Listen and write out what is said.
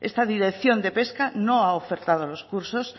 esta dirección de pesca no ha ofertado los cursos